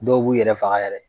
Dɔw b'u yɛrɛ faga yɛrɛ.